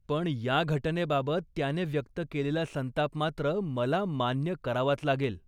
पण, या घटनेबाबत त्याने व्यक्त केलेला संताप मात्र मला मान्य करावाच लागेल.